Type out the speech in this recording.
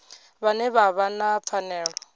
vhane vha vha na pfanelo